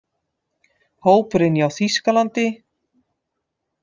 Hópurinn hjá Þýskalandi: